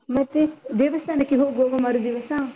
ಮತ್ತೆ ದೇವಸ್ಥಾನಕ್ಕೆ ಹೋಗುವವ ಮರುದಿವಸ?